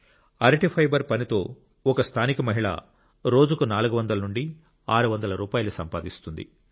అరటి ఫైబర్ పని తో ఒక స్థానిక మహిళ రోజుకు నాలుగు వందల నుండి ఆరు వందల రూపాయలు సంపాదిస్తుంది